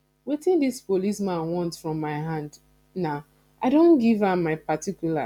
wetin dis police man want from my hand na i don give am particulars